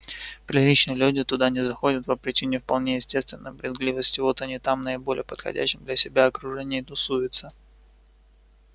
приличные люди туда не заходят по причине вполне естественной брезгливости вот они там в наиболее подходящем для себя окружении и тусуются